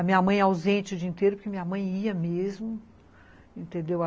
A minha mãe é ausente o dia inteiro, porque minha mãe ia mesmo, entendeu?